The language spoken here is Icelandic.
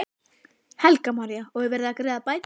Helga María: Og er verið að greiða bætur?